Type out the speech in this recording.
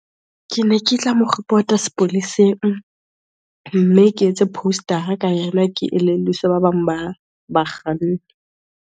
Ke ne ke tla mo report-a sepoleseng, mme ke etse post-ara ka yena, ke elelliswe ba bang ba ba kganni.